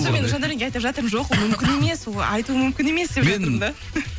соны мен жандәуренге айтып жатырмын жоқ ол мүмкін емес ол айтуы мүмкін емес деп жатырмын да